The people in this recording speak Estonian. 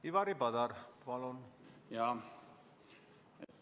Ivari Padar, palun!